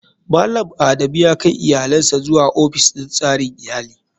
Malam adamu yakai iyalinsa zuwa ofis din tsarin iyali.